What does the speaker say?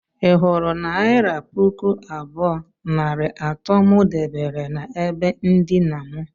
ị hụrụ naira pụkụ abụọ nari ato mụ debere na ebe ndina mụ?